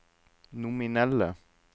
nominelle